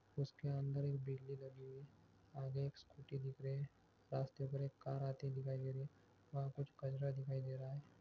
ये उसके अंदर एक बिल्ली लगी हुई है आगे एक स्कूटी दिख रही हैरास्ते पे कार आते दिखाई दे रही है वहा कुछ कचड़ा दिखाई दे रहा है।